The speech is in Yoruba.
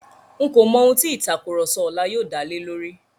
N̄ kò mọ ohun tí ìtàkurọ̀sọ ọlá yóò dá lé lórí.